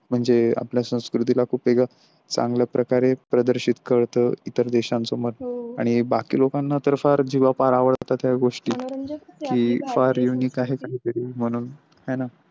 म्हणजे आपल्या संस्कृतीला कुठे ग चांगल्या प्रकारे प्रदर्शित करतो इतर देशांचं मत आणि बाकी लोकांना तर फार जीवा फार आवडतात त्या गोष्टी की फार Unique आहे काहीतरी म्हणून.